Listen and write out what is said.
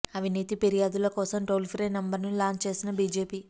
అవినీతి ఫిర్యాదుల కోసం టోల్ ఫ్రీ నంబర్ ను లాంచ్ చేసిన బిజేపి